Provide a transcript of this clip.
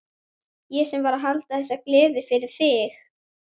Ég sem var að halda þessa gleði fyrir þig!